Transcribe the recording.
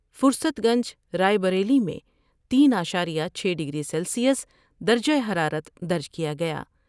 فرست گنج راۓ بریلی میں تین اعشاریہ چھ ڈگری سیلسیس درجہ حرارت درج کیا گیا ہے ۔